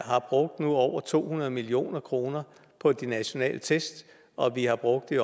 har brugt nu over to hundrede million kroner på de nationale test og at vi har brugt i